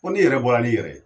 Fɔ ni yɛrɛ bɔra ni yɛrɛ ye